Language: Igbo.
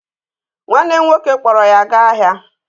Nwanne m nwoke kpọọrọ ya gaa ahịa